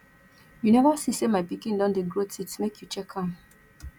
you neva see sey my pikin don dey grow teeth make you check am